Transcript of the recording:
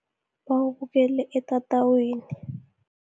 Bawubukele etatawini.